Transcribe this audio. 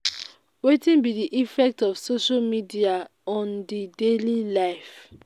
wetin be di effect of social media on di daily life?